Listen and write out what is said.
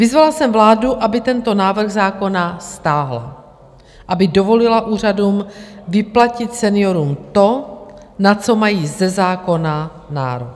Vyzvala jsem vládu, aby tento návrh zákona stáhla, aby dovolila úřadům vyplatit seniorům to, na co mají ze zákona nárok.